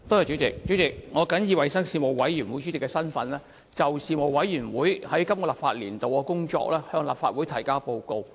主席，我謹以衞生事務委員會主席的身份，就事務委員會在本立法年度的工作，向立法會提交報告。